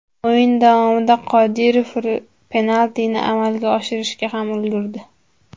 O‘yin davomida Qodirov penaltini amalga oshirishga ham ulgurdi.